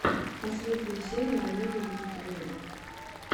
последняя серия олега аникеева